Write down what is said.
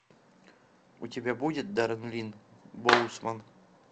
у тебя будет даррен линн боусман